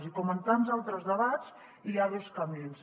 i com en tants altres debats hi ha dos camins